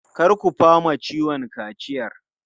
Kar ku fama ciwon kaciyar!